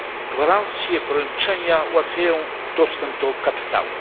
Gwarancje, poręczenia ułatwiają dostęp do kapitału.